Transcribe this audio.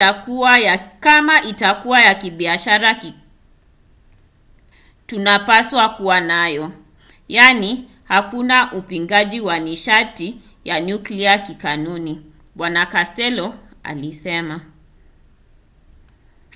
"kama itakuwa ya kibiashara tunapaswa kuwa nayo. yaani hakuna upingaji wa nishati ya nyuklia kikanuni bw costello alisema